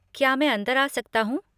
क्या मैं अंदर आ सकता हूँ?